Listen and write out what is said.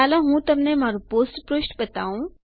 ચાલો હું તમને મારું પોસ્ટ પૃષ્ઠ બતાવું